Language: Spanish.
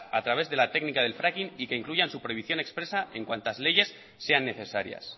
a través de la técnica del fracking y que incluyan su prohibición expresa en cuantas leyes sean necesarias